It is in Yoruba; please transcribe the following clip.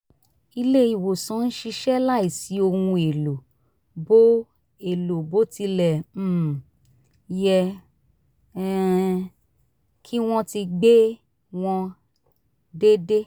ilé ìwòsàn ń ṣiṣẹ́ láìsí ohun èlò bó èlò bó tilẹ̀ um yẹ um kí wọ́n ti gbé wọn dédé